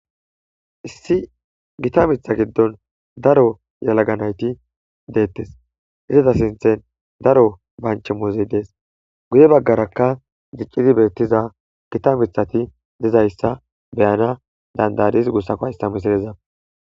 issi gita mitha giddon daro yalaga nayti deettes iza sinthen daro banch emuuzey dees guye baggarakka diccidi beettiza gita mithati dizayssa beyana danda7adis gussakko ista misilezan